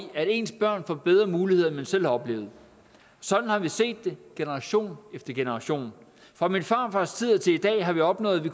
at ens børn får bedre muligheder end man selv har oplevet sådan har vi set det generation efter generation fra min farfars tid til i dag har vi opnået at vi